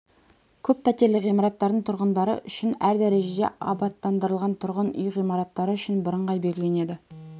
көп пәтерлі ғимараттардың тұрғындары үшін әр дәрежеде абаттандырылған тұрғын үй ғимараттары үшін бірыңғай белгіленеді